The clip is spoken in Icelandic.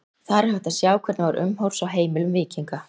Þar er hægt að sjá hvernig var umhorfs á heimilum víkinga.